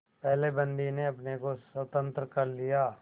पहले बंदी ने अपने को स्वतंत्र कर लिया